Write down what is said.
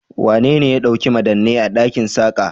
Wanene ya ɗauki madannai a ɗakin Saka?